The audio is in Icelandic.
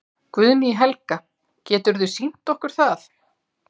Guðný Helga: Geturðu sýnt okkur það?